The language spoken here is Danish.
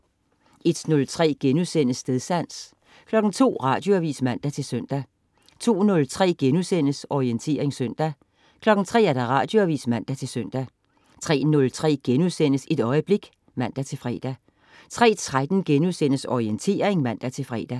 01.03 Stedsans* 02.00 Radioavis (man-søn) 02.03 Orientering søndag* 03.00 Radioavis (man-søn) 03.03 Et øjeblik* (man-fre) 03.13 Orientering* (man-fre)